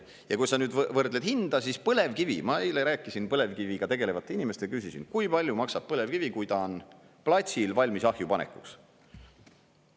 Ja kui sa nüüd võrdled hinda, siis põlevkivi … ma eile rääkisin põlevkiviga tegelevate inimestega, küsisin, kui palju maksab põlevkivi, kui ta on platsil, valmis ahju panekuks.